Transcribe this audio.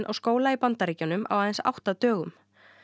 á skóla í Bandaríkjunum á aðeins átta dögum